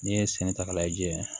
N'i ye sɛnɛ ta k'a lajɛ